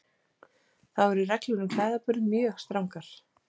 Þá eru reglur um klæðaburð mjög strangar.